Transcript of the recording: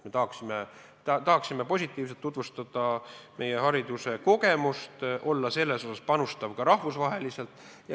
Me tahaksime tutvustada meie hariduse positiivseid kogemusi ja anda selles osas panuse ka rahvusvaheliselt.